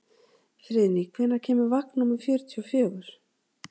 Friðný, hvenær kemur vagn númer fjörutíu og fjögur?